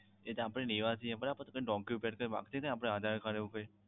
એ તો આપણે લેવાથી Document આપીએ ને Aadhar Card એવું કઈક